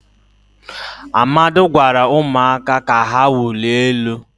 amadi gwara umuaka ka ha wulie elu